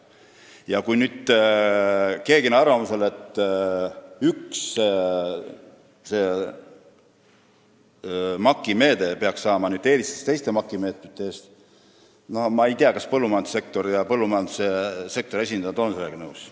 Ja kui nüüd keegi on arvamusel, et see üks MAK-i meede peaks saama eelistuse teiste MAK-i meetmete ees, siis ma ei tea, kas põllumajandussektor ja selle esindajad on sellega nõus.